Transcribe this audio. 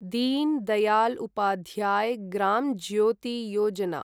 din Dayal Upadhyay Gram Jyoti Yojana